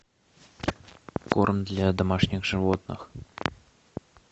корм для домашних животных